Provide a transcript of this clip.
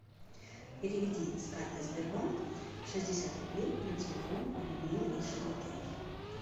переведи с карты сбербанк шестьдесят рублей на телефон людмилы из бухгалтерии